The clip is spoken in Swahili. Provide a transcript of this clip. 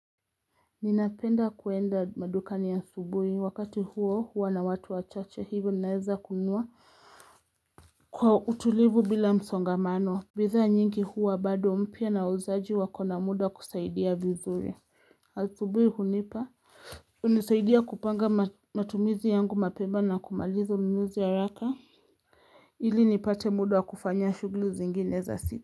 Ninapenda kuenda madukani asubuhi wakati huo huwa na watu wachache hivyo naweza kunua Kwa utulivu bila msongamano bidhaa nyingi huwa bado mpya na wauzaji wakona muda kukusaidia vizuri Asubuhi hunipa hunisaidia kupanga matumizi yangu mapema na kumaliza ununuzi haraka ili nipate muda wa kufanya shughuli zingine za siku.